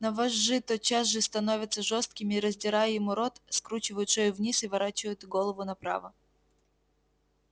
но вожжи тотчас же становятся жёсткими и раздирая ему рот скручивают шею вниз и ворочают голову направо